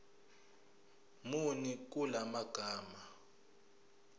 muni kula magama